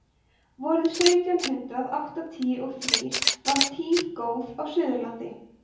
vorið sautján hundrað áttatíu og þrír var tíð góð á suðurlandi